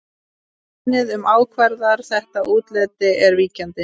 Genið sem ákvarðar þetta útlit er víkjandi.